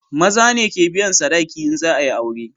Maza ne ke biyan sadaki in za a yi aure